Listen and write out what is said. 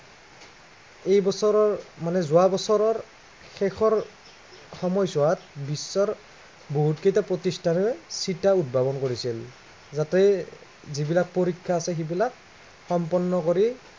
এই বছৰৰ মানে যোৱা বছৰৰ, শেষৰ সময়ছোৱাত বিশ্বৰ বহুতকেইটো, প্ৰতিষ্ঠানে চিটা উদ্ভাৱন কৰিছিল। যাতে যিবিলাক পৰীক্ষা আছে সেইবিলাক সম্পন্ন কৰি